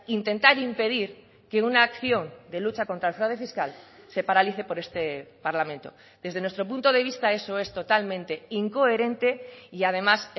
intentar impedir que una acción de lucha contra el fraude fiscal se paralice por este parlamento desde nuestro punto de vista eso es totalmente incoherente y además